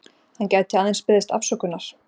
Hann gæti aðeins beðist afsökunar